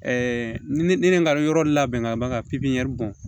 ne ka yɔrɔ labɛn ka ban ka pipiniyɛri bɔ